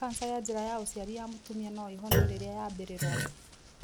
Cancer ya njĩra ya ũciari ya mũtumia no ĩhono rĩrĩa yambĩrĩroa.